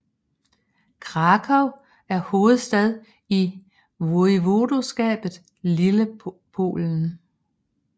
Kraków er hovedstad i voivodskabet Lillepolen